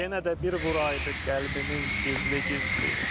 Yenə də bir vuraydıq qəlbimiz gizli-gizli.